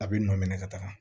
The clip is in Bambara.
A bɛ nɔ minɛ ka taga